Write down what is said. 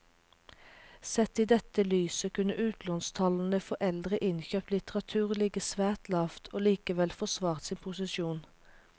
Sett i dette lyset kunne utlånstallene for eldre innkjøpt litteratur ligget svært lavt og likevel forsvart sin posisjon.